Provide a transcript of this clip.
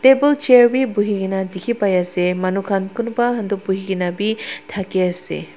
table chair bi buhi kena dikhi pai ase manukhan kunba khan toh buhi kena bi thaki ase.